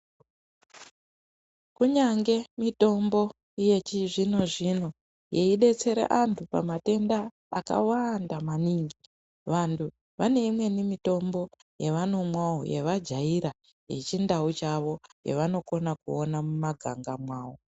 Kunyange mitombo yechizvino zvino yeidetsera antu pamatenda akawanda maningi vantu vane imweni mitombo yavanomwawo yavajaira yechindau chavo yavanokona kuona mumaganga mwawo.